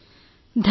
ధన్యవాదాలు